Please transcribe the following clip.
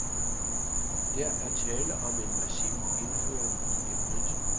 Der er tale om en massiv indføring i emnet.